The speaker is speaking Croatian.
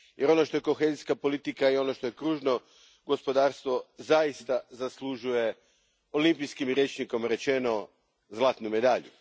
Jer, ono što je kohezijska politika i što je kružno gospodarstvo zaista zaslužuje, olimpijskim rječnikom rečeno, zlatnu medalju.